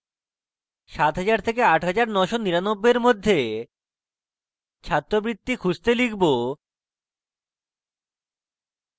7000 থেকে 8999 এর মধ্যে ছাত্রবৃত্তি খুঁজতে লিখব: